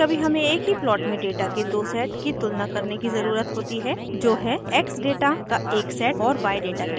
कभीकभी हमें एक ही प्लॉट में डेटा के दो सेट की तुलना करने की ज़रुरत होती है जो है x डेटा का एक सेट और y डेटा के दो सेट